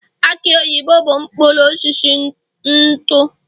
aki oyibo bụ mkpụrụ osisi nutu